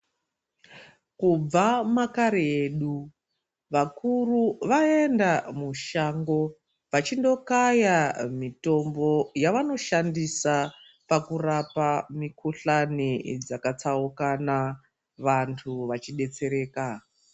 Kubva makare edu vakuru vaenda mushango. Vachindokaya mitombo yavanoshandisa pakurapa mikuhlani dzakatsaukana vantu vachibetsereka.